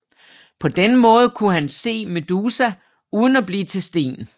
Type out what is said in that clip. På den måde kunne han se Medusa uden at blive til sten